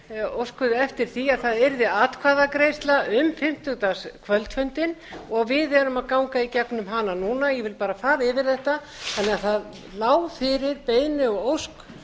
óskuðu eftir því að það yrði atkvæðagreiðsla um fimmtudagskvöldfundinn og við erum að ganga í gegnum hana núna ég vil bara fara yfir þetta þannig að það lá fyrir beiðni og ósk